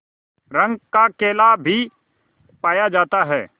रंग का केला भी पाया जाता है